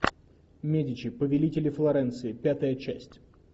медичи повелители флоренции пятая часть